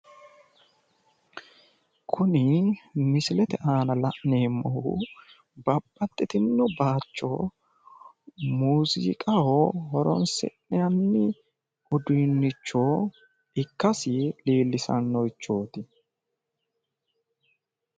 Kuni misilete. aana la'neemmohu babbqxxitino bayicho muuziiqaho horonsi'nanni uduunnicho ikkasi horonsi'nanni uduunnichooti.